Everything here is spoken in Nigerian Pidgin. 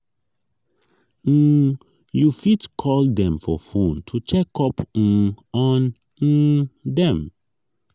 um you fit call dem for phone to check up um on um dem